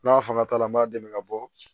N'a fanga t'a la n b'a dɛmɛ ka bɔ